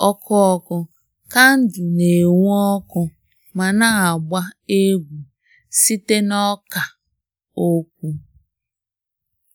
N'oge ọkụ ọkụ, kandụl na-enwu ọkụ ma na-agba egwu site na ọkà okwu